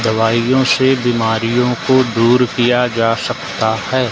दवाइयों से बीमारियों को दूर किया जा सकता हैं।